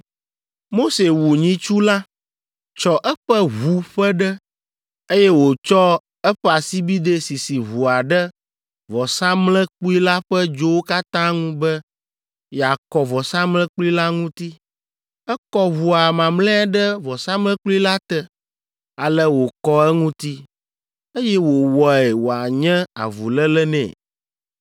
Mose wu nyitsu la, tsɔ eƒe ʋu ƒe ɖe, eye wòtsɔ eƒe asibidɛ sisi ʋua ɖe vɔsamlekpui la ƒe dzowo katã ŋu be yeakɔ vɔsamlekpui la ŋuti. Ekɔ ʋua mamlɛa ɖe vɔsamlekpui la te. Ale wòkɔ eŋuti, eye wòwɔe wòanye avuléle nɛ.